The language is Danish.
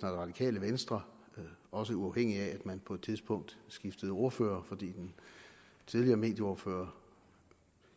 det radikale venstre også uafhængigt af at man på et tidspunkt skiftede ordfører fordi den tidligere medieordfører